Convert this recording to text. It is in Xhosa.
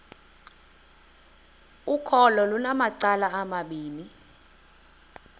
ukholo lunamacala amabini